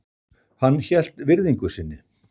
Hann hélt virðingu sinni.